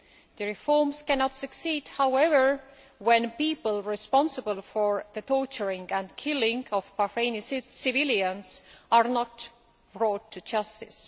The reforms cannot succeed, however, when people responsible for the torturing and killing of Bahraini civilians are not brought to justice.